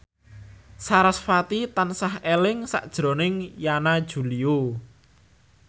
sarasvati tansah eling sakjroning Yana Julio